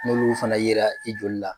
N'olu fana yera i joli la.